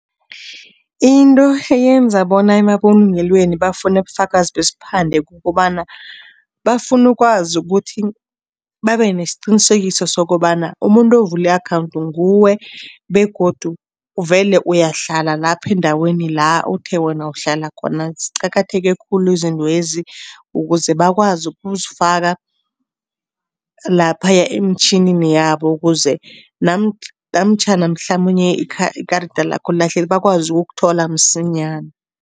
Into eyenza bona emabulungelweni bafune ubufakazi besiphande kukobana, bafuna ukwazi ukuthi babe nesiqinisekiso sokobana umuntu avule i-akhawundi nguwe begodu vele uyahlala lapha endaweni la uthe wena uhlala khona. Ziqakatheke khulu izintwezi ukuze bakwazi ukuzifaka laphaya emtjhinini yabo ukuze namtjhana mhlamunye ikarada lakho lilahlekile bakwazi ukukuthola msinyana.